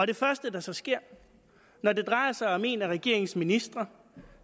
det første der så sker når det drejer sig om en af regeringens ministre